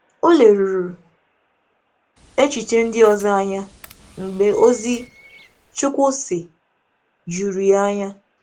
Ọ lèrùrù lèrùrù echiche ndị ọzọ anya mgbe ozi “Chukwu sị” jùrù ya anya.